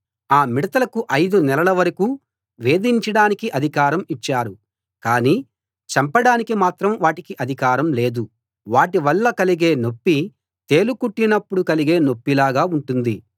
ఆ మిడతలకు ఐదు నెలల వరకూ వేధించడానికి అధికారం ఇచ్చారు కానీ చంపడానికి మాత్రం వాటికి అధికారం లేదు వాటి వల్ల కలిగే నొప్పి తేలు కుట్టినపుడు కలిగే నొప్పిలాగా ఉంటుంది